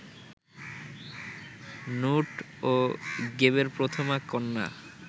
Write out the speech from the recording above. নুট ও গেবের প্রথমা কন্যা